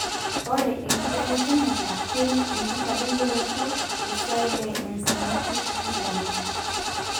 Ore inkibelekenyat kerik enkitadoyioroto tesiai e enzymatic entalipa.